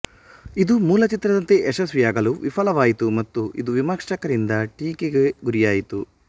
ಇದು ಮೂಲ ಚಿತ್ರದಂತೆ ಯಶಸ್ವಿಯಾಗಲು ವಿಫಲವಾಯಿತು ಮತ್ತು ಇದು ವಿಮರ್ಶಕರಿಂದ ಟೀಕೆಗೆ ಗುರಿಯಾಯಿತು